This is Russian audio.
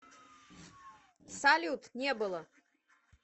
салют не было